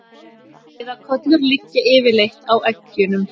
Æðarkollur liggja yfirleitt á eggjunum.